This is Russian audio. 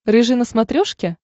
рыжий на смотрешке